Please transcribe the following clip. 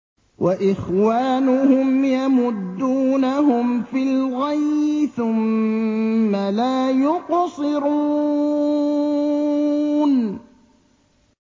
وَإِخْوَانُهُمْ يَمُدُّونَهُمْ فِي الْغَيِّ ثُمَّ لَا يُقْصِرُونَ